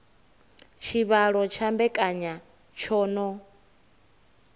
tshivhalo tsha mbekanya tsho no